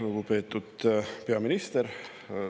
Lugupeetud peaminister!